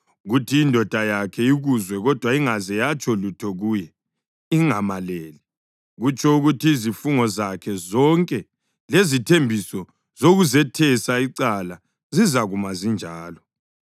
kuthi indoda yakhe ikuzwe kodwa ingaze yatsho lutho kuye ingamaleli, kutsho ukuthi izifungo zakhe zonke lezithembiso zokuzethesa icala zizakuma zinjalo.